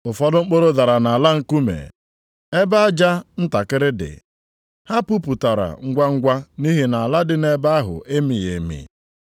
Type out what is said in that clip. Ụfọdụ mkpụrụ dara nʼala nkume, ebe aja ntakịrị dị. Ha puputara ngwangwa nʼihi na ala dị nʼebe ahụ emighị emi.